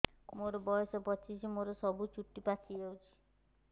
ମୋର ବୟସ ପଚିଶି ମୋର ସବୁ ଚୁଟି ପାଚି ଯାଇଛି